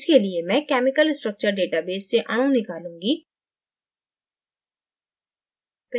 इसके लिए मैं chemical structure database से अणु निकालूँगी